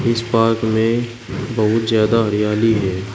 इस पार्क में बहुत ज्यादा हरियाली है।